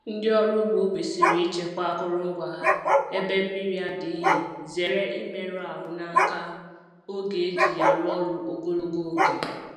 Ndị ọrụ ugbo kwesịrị ichekwa akụrụngwa ha ebe mmri adịghị zere imeru ahụ n’aka oge e ji ya arụ ọrụ ogologo oge.